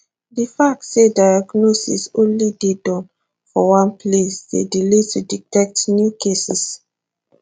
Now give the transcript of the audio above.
di fact say diagnosis only dey Accepted for one place dey delay to detect new cases